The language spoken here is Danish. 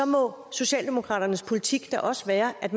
må socialdemokraternes politik da også være at